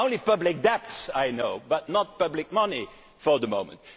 money. There are only public debts but no public money for the